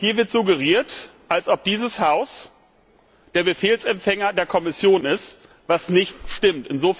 Hier wird suggeriert, dass dieses Haus der Befehlsempfänger der Kommission ist, was nicht stimmt.